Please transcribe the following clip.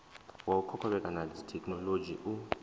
wa u kovhekana thekhinolodzhi u